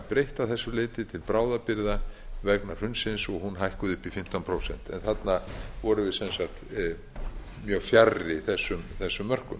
breytt að þessu leyti til bráðabirgða vegna hrunsins og hún hækkuð upp í fimmtán prósent en þarna vorum við sem sagt mjög fjarri þessum mörkum